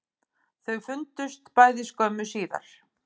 Þau fundust bæði skömmu síðar